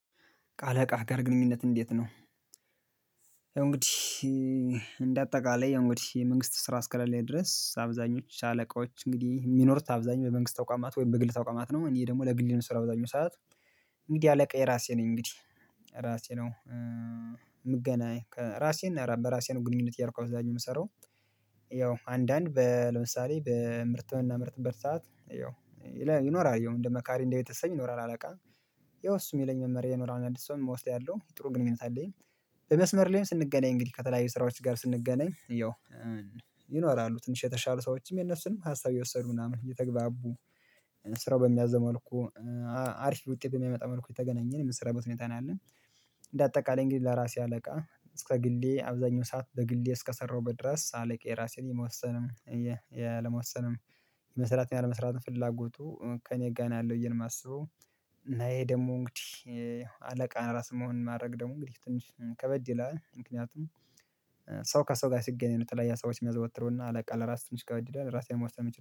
ከአለቃህ ጋር ግንኙነትህ እንዴት ነው ያው እንግዲህ እንደ አጠቃላይ እንግዲህ የመንግስት ስራ አስከለሌ ድረስ አብዛኞቹ አለቆች እንግዲህ የሚኖሩት አብዛኞቹ የመንግስት ተቋማት ወይም በግል ተቋማት ነው እኔ ደግሞ ለግሌ ነው ምሰራው በአብዛኛው ሰዓት እንግዲህ አለቃዬ ራሴ ነኝ እንግዲህ ራሴ ነው የምገናኝ ራሴን በራሴን ግንኙነት እያረኩ እብዛኛው የምሰራው ያው አንዳንድ ለምሳሌ በምርት ምርት በምናመርትበት ሰዓት ይኖራል ይሄው እንደ መካሪ እንደ ቤተሰብ ይኖራል አለቃ ያው እሱ የሚለኝን መመሪያ እየወሰድኩ ነው ያለሁ የምወስደው ያለው ጥሩ ግንኙነት አለኝ በመስመር ላይም ስንገናኝ እንግዲህ ከተለያዩ ስራዎች ጋር ስንገናኝ ይኖራሉ ትንሽ የተሻሉ ሰዎችም የነሱንም ሀሳብ እየወሰዱ ምናምን እየተግባቡ ስራው በሚያዘው መልኩ አሪፍ ውጤት በሚያመጣ መልኩ እየተገናኘን የሚሰራበት ሁኔታ ነው ያለን እንደ አጠቃላይ እንግዲህ ለራሴ አለቃ እስከ ግሌ አብዛኛው ሰዓት በግሌ እስከሰራሁበት በድረስ ሳለቅ የራሴን የመወሰንም የአለመወሰንም የመስራት ያለመስራት ፍላጎቱ ከእኔ ጋር ነው ያለው ብዬ ነው ማስበው ነው ይሄ ደግሞ እንግዲህ አለቃን ራስ መሆን ማድረግ ደግሞ እንግዲህ ትንሽ ከበድ ይላል ምክንያቱም ሰው ከሰው ጋር ሲገናኝ የተለያየ ሰዎች የሚያዘወትሩና አለቃ ለራስ ትንሽ ጋር ይላል ራሴ ነው መወሰን የምችለው።